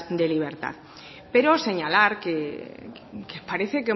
de libertad pero señalar que parece